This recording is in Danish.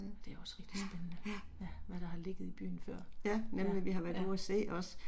Det er også rigtig spændende. Ja, Hvad der har ligget i byen før. Ja, ja